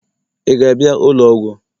ị ga-abịa ụlọ ọgwụ?